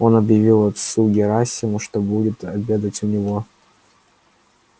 он объявлял отцу герасиму что будет обедать у него